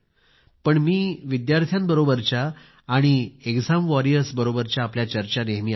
पण मी विद्यार्थ्यांबरोबरच्या आणि एक्झाम वॉरियर्स बरोबरच्या आपल्या चर्चा नेहमी ऐकते